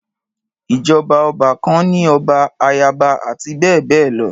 Ìjọba ọba kan ní ọba, ayaba, àti bẹ́ẹ̀bẹ́ẹ̀ lọ.